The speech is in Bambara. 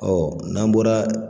n'an bɔra